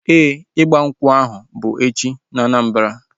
Ee, ịgba nkwụ ahu bu echi na Anambra